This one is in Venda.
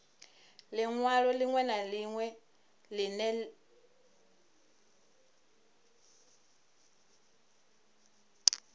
linwalo linwe na linwe line